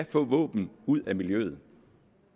få våben ud af miljøet